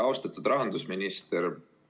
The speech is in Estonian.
Austatud rahandusminister!